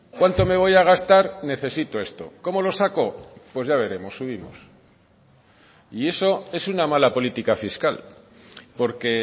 cuánto me voy a gastar necesito esto cómo lo saco pues ya veremos subimos y eso es una mala política fiscal porque